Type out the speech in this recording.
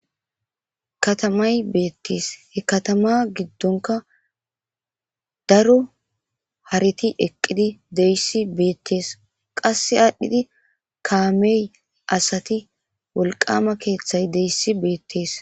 katamay beettees he katama giddonka daro hareti eqqidi deyssi beettees qasse aadhdhidi kaamey asati wolqama keeththeay deyssi beettees